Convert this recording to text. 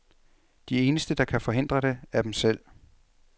De eneste der kan forhindre det, er dem selv.